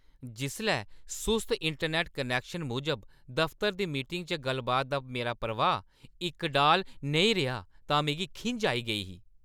जिसलै सुस्त internet connection मूजब दफतरै दी मीटिंगा च गल्ल-बातै दा मेरा प्रवाह् इकडाल नेईं रेहा तां मिगी खिंझ आई गेई ही।